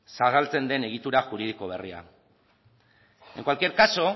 zabaltzen den egitura juridiko berria en cualquier caso